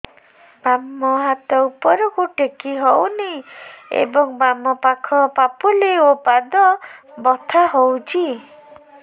ବାମ ହାତ ଉପରକୁ ଟେକି ହଉନି ଏବଂ ବାମ ପାଖ ପାପୁଲି ଓ ପାଦ ବଥା ହଉଚି